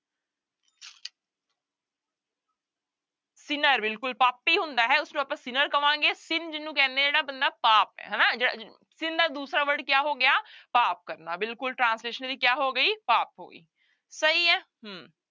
sinner ਬਿਲਕੁਲ ਪਾਪੀ ਹੁੰਦਾ ਹੈ ਉਸਨੂੰ ਆਪਾਂ sinner ਕਵਾਂਗੇ sin ਜਿਹਨੂੰ ਕਹਿੰਦੇ ਆਂ ਜਿਹੜਾ ਬੰਦਾ ਪਾਪ ਹੈ ਹਨਾ sin ਦਾ ਦੂਸਰਾ word ਕਿਆ ਹੋ ਗਿਆ ਪਾਪ ਕਰਨਾ ਬਿਲਕੁਲ translation ਇਹਦੀ ਕਿਆ ਹੋ ਗਈ ਪਾਪ ਹੋ ਗਈ ਸਹੀ ਹੈ ਹਮ